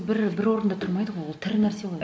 бір бір орында тұрмайды ғой ол тірі нәрсе ғой